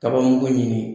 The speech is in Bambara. Kaba mugu ɲini